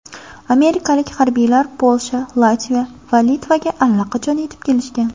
Amerikalik harbiylar Polsha, Latviya va Litvaga allaqachon yetib kelishgan.